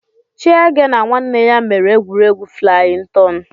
Chiege na nwanne ya mere egwuregwu flayin tọn